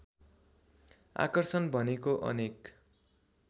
आकर्षण भनेको अनेक